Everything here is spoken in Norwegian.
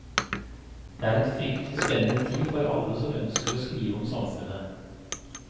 Dette er en fryktelig spennende tid for alle som ønsker å skrive om samfunnet.